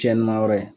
Cɛnni ma yɔrɔ ye